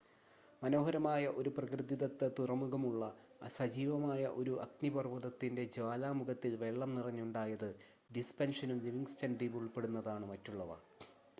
മനോഹരമായ ഒരു പ്രകൃതിദത്ത തുറമുഖമുള്ള സജീവമായ ഒരു അഗ്നിപർവ്വതത്തിൻ്റെ ജ്വാലാമുഖത്തിൽ വെള്ളം നിറഞ്ഞുണ്ടായത് ഡിസപ്‌ഷനും ലിവിങ്സ്റ്റൺ ദ്വീപും ഉൾപ്പെടുന്നതാണ് മറ്റുള്ളവ